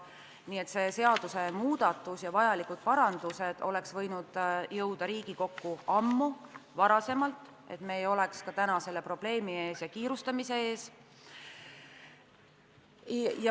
Nii et vajalikud parandused oleks võinud jõuda Riigikokku juba ammu ja me ei oleks täna sunnitud seda probleemi lahendades kiirustama.